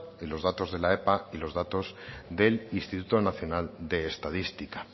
y los datos de la epa y los datos del instituto nacional de estadística